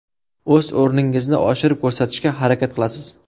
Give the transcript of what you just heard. O‘z o‘rningizni oshirib ko‘rsatishga harakat qilasiz.